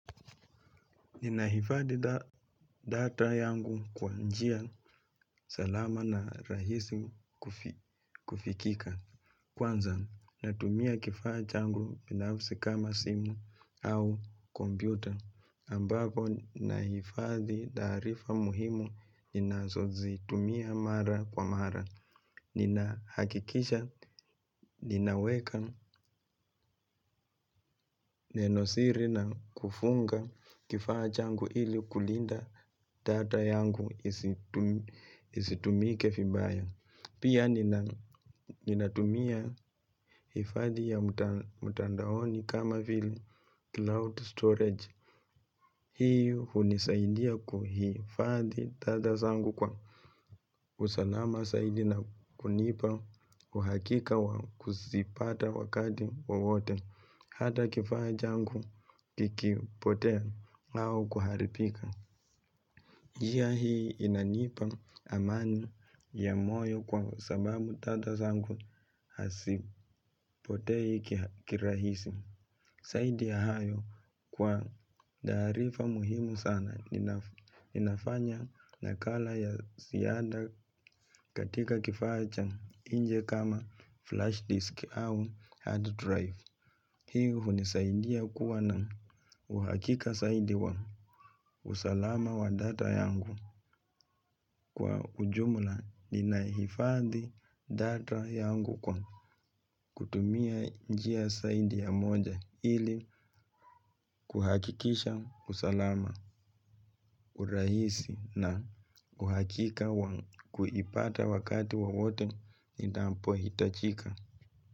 Ninahifadhi data yangu kwa njia salama na rahisi kufikika. Kwanza, natumia kifaa changu binafisi kama simu au kompyuta. Ambavyo, nahifadhi taarifa muhimu, ninazozitumia mara kwa mara. Nina hakikisha, ninaweka, nenosiri na kufunga kifaa changu ili kulinda data yangu. Isitumike vibaya pia ninatumia hifadhi ya mtandaoni. Kama vile Cloud storage. Hii hunisaidia kuhifadhi data zangu kwa usalama zaidi na kunipa uhakika wa kuzipata wakati wowote hata kifaa changu kikipotea au kuharibika njia hii inanipa amani ya moyo kwa sababu data zangu hazipotei kirahisi zaidi ya hayo kwa taarifa muhimu sana. Ninafanya nakala ya ziada katika kifacha nje kama flash disk au hard drive. Hii hunisaidia kuwa na uhakika zaidi wa usalama wa data yangu. Kwa ujumla ninahifadhi data yangu kwa kutumia njia zaidi ya moja ili kuhakikisha usalama urahisi na uhakika wangu kuipata wakati wowote inapohitajika.